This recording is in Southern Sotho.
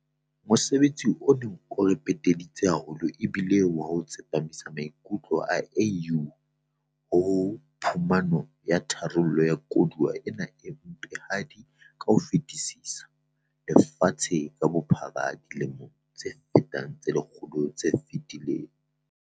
Mosebetsi o neng o re peteditse haholo e bile wa ho tsepamisa maikutlo a AU ho phumano ya tharollo ya koduwa ena e mpehadi ka ho fetisisa lefatshe ka bophara dilemong tse fetang tse lekgolo tse fetileng.